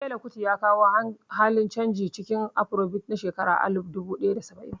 Fela Kuti ya kawo halin canji cikin Afarobit a shekara na alif duba ɗaya da saba'in